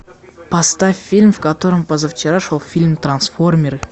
поставь фильм в котором позавчера шел фильм трансформеры